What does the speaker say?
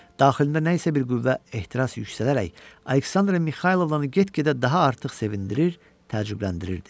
Daxilimdə nə isə bir qüvvə ehtiras yüksələrək Aleksandra Mixaylovnanı get-gedə daha artıq sevindirir, təcrübələndirirdi.